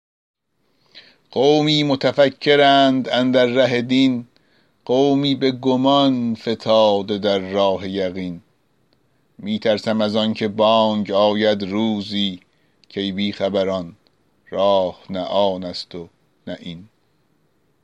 قومی متفکرند اندر ره دین قومی به گمان فتاده در راه یقین می ترسم از آن که بانگ آید روزی کای بی خبران راه نه آن است و نه این